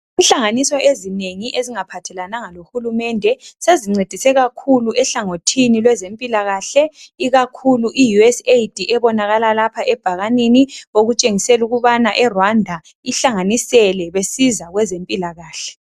Inhlanganiso ezinengi ezingaphathelananga lohulumende sezincedise kakhulu ehlangothini lwezempilakahle ikakhulu I USAID ebonalala lapha ebhakanini okutshengisela ukubana eRwanda ihlanganisele besiza kwezempilakahle.